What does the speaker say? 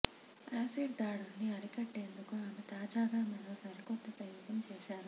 acid దాడుల్ని అరికట్టేందుకు ఆమె తాజాగా మరో సరికొత్త ప్రయోగం చేశారు